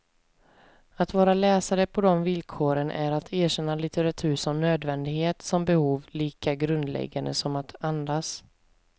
Att vara läsare på de villkoren är att erkänna litteratur som nödvändighet, som behov lika grundläggande som att andas.